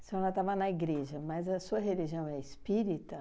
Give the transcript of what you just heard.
A senhora estava na igreja, mas a sua religião é espírita?